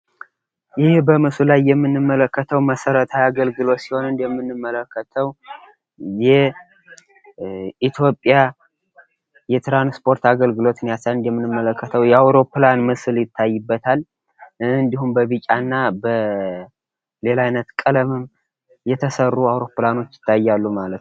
ይህ በምስሉ ላይ የምንመለከተው መሰረታዊ የአገልግሎት ሲሆን እንደምንመለከተው የኢትዮጵያ የትራንስፖርት አገልግሎትን እንደምንመለከተው የአውሮፕላን ምስል ይታይበታል እንዲሁም በቢጫና በሌላ አይነት ቀለም የተሰሩ አውሮፕላኖች ይታያሉ ማለት ነው።